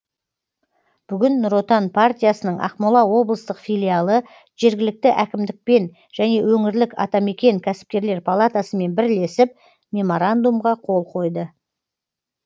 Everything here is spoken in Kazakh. бүгін нұр отан партиясының ақмола облыстық филиалы жергілікті әкімдікпен және өңірлік атамекен кәсіпкерлер палатасымен бірлесіп меморандумға қол қойды